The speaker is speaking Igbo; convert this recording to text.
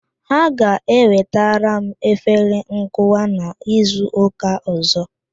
Ha ga-ewetara m afere nkụwa n'izu ụka ọzọ